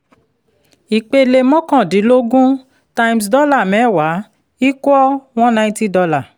ìpele mọ́kàndínlógún times dọ́là mẹ́wàá equals one ninety dollar